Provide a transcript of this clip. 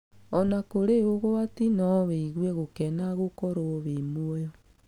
Ona kũrĩ ũgwati no wĩgue gũkena gũkorwo wĩ muoyo.